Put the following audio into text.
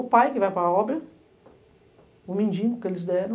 O pai que vai para a obra, o mendigo que eles deram,